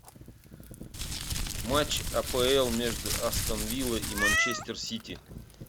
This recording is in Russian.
матч апл между астон виллой и манчестер сити